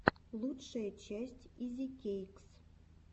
лучшая часть изикэйкс